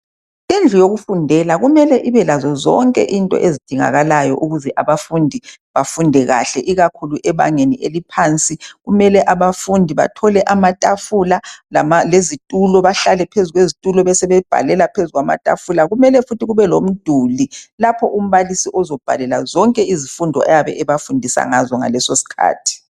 Indlu yokufundela kumele ibe lazo zonke into ezidingakalayo ukuze abafundi bafunde kahle ikakhulu ebangeni eliphansi. Kumele abafundi bathole amatafula lama lezitulo , bahlale phezu kwezitulo besebebhalela phezu kwamatafula. Kumele futhi kube lomduli lapho umbalisi ozobhalela zonke izfundo ayabe ebafundisa ngazo ngalesosikhathi